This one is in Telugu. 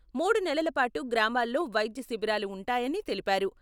మూడు నెలల పాటు గ్రామాల్లో వైద్య శిబిరాలు ఉంటాయని తెలిపారు.